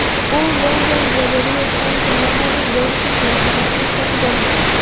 U London galereyasidan zamonaviy yoritish moslamasini sotib olgan.